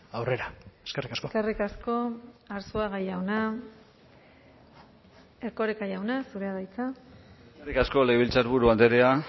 aurrera eskerrik asko eskerrik asko arzuaga jauna erkoreka jauna zurea da hitza eskerrik asko legebiltzarburu andrea